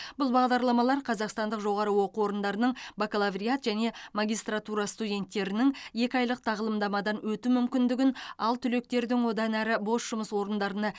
бұл бағдарламалар қазақстандық жоғары оқу орындарының бакалавриат және магистратура студенттерінің екі айлық тағылымдамадан өту мүмкіндігін ал түлектердің одан әрі бос жұмыс орындарына